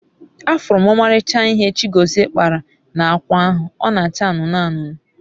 afuru m omalicha ihe Chigozie kpara na akwa ahu, o n'acha anunu anunu